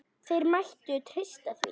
Þeir mættu treysta því.